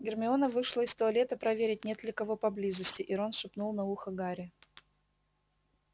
гермиона вышла из туалета проверить нет ли кого поблизости и рон шепнул на ухо гарри